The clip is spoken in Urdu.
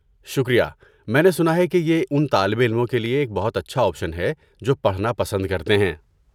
شکریہ، میں نے سنا ہےکہ یہ ان طالب علموں کے لیے ایک بہت اچھا آپشن ہے جو پڑھنا پسند کرتے ہیں۔